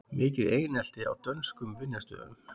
Mikið einelti á dönskum vinnustöðum